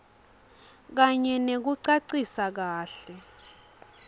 kanye nekucacisa kahle